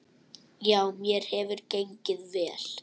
Já, mér hefur gengið vel.